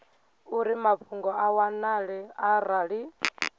uri mafhungo a wanale arali